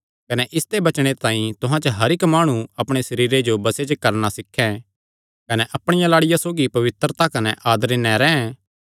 कने इसते बचणे तांई तुहां च हर इक्क माणु अपणे सरीरे जो बसे च करणा सीखें कने अपणिया लाड़िया सौगी पवित्रता कने आदरे नैं रैंह्